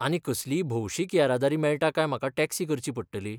आनी कसलीय भौशिक येरादारी मेळटा काय म्हाका टॅक्सी करची पडटली?